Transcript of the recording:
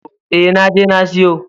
E, na je na siyo.